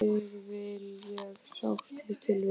Þig vil ég sárt til vinna.